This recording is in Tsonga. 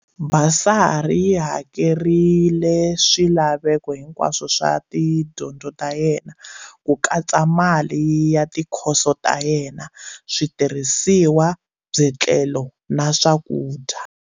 Basari yi hakerile swilaveko hinkwaswo swa tidyondzo ta yena, ku katsa mali ya tikhoso ta yena, switirhisiwa, byetlelo na swakudya.